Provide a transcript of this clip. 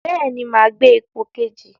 Bẹ́ẹ̀ni, máa gbé ipò kejì.